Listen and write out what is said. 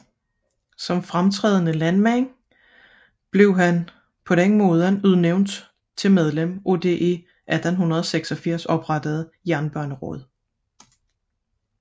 Som fremtrædende landmand blev han ligeledes udnævnt til medlem af det i 1886 oprettede Jernbaneråd